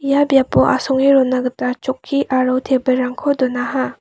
ia biapo asonge rona gita chokki aro tebil rangko donaha.